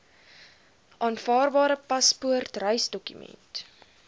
aanvaarbare paspoort reisdokument